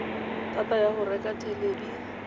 thata ya go reka thelebi